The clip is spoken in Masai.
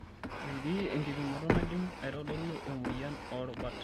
Metii enkipimoto naidim aitodolu emoyian oorubat.